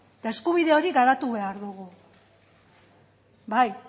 eta eskubide hori garatu behar dugu